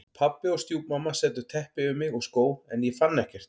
Pabbi og stjúpmamma settu teppi yfir mig og skó en ég fann ekkert.